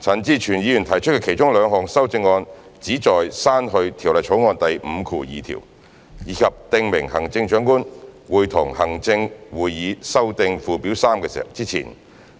陳志全議員提出的其中兩項修正案旨在刪去《條例草案》第52條，以及訂明行政長官會同行政會議修訂附表3之前，